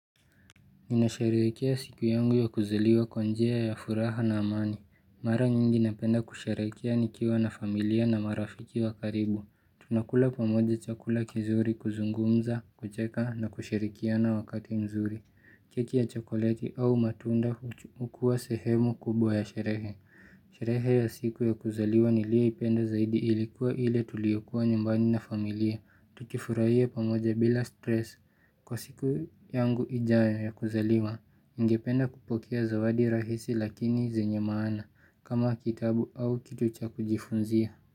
Ninasherehekea siku yangu ya kuzaliwa kwa njia ya furaha na amani. Mara nyingi napenda kusherehekea nikiwa na familia na marafiki wa karibu. Tunakula pamoja chakula kizuri kuzungumza, kucheka na kushirikiana wakati mzuri. Keki ya chokoleti au matunda hukuwa sehemu kubwa ya sherehe. Sherehe ya siku ya kuzaliwa niliyoipenda zaidi ilikuwa ile tuliokuwa nyumbani na familia tukifurahia pamoja bila stress kwa siku yangu ijayo ya kuzaliwa ningependa kupokea zawadi rahisi lakini zenye maana kama kitabu au kitu cha kujifunzia.